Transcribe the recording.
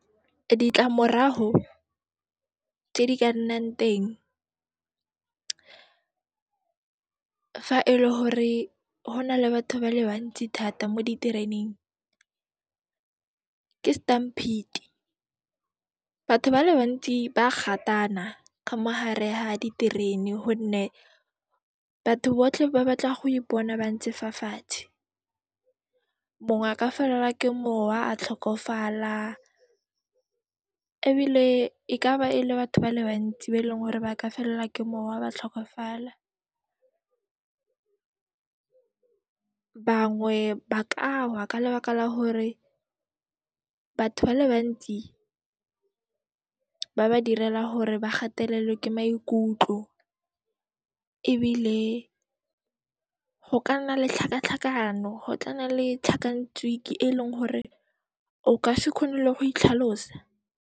Ditlamoraho tse di ka nnang teng fa ele hore ho nale batho ba le bantsi thata mo ditereneng, ke stamphiti. Batho ba le bantsi ba gatana ka mo hare ha diterene honne batho botlhe ba batla go ipona ba ntse fa fatshe. Mongwe a ka felelwa ke mowa, a tlhokofala ebile e ka ba e le batho ba le bantsi ba eleng hore ba ka felelwa ke mowa, ba tlhokafala. Bangwe ba ka wa ka lebaka la hore batho ba le bantsi ba ba direla hore ba gatelelwe ke maikutlo ebile ho ka nna le tlhakatlhakano, go tla nna le tlhakantswiki eleng hore o ka se kgone le go itlhalosa.